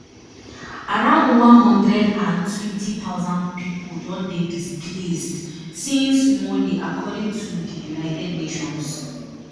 around one hundred and twenty thousand pipo don dey displaced since monday according to di united nations